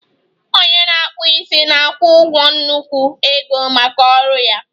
Onye na-akpụ isi na-akwụ ụgwọ nnukwu ego maka ọrụ ya